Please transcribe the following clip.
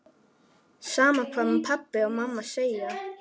Sama hvað pabbi og mamma segja.